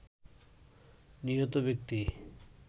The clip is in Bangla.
নিহত ব্যক্তি